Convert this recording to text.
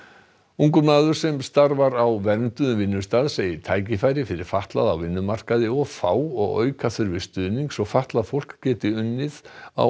ungur maður sem starfar á vernduðum vinnustað segir tækifæri fyrir fatlaða á vinnumarkaði of fá og auka þurfi stuðning svo fatlað fólk geti unnið á